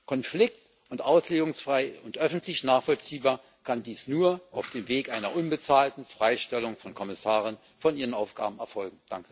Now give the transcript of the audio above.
Konflikt und auslegungsfrei und öffentlich nachvollziehbar kann dies nur auf dem Weg einer unbezahlten Freistellung von Kommissaren von ihren Aufgaben erfolgen.